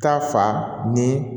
Ta fa ni